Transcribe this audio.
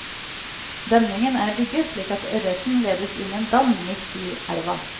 Demningen er bygget slik at ørreten ledes inn i en dam midt i elven.